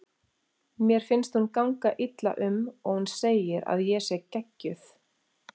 Mér finnst hún ganga illa um og hún segir að ég sé geggjuð.